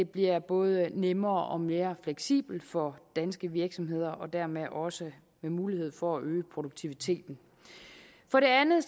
bliver både nemmere og mere fleksibelt for danske virksomheder og dermed bliver der også mulighed for at øge produktiviteten for det andet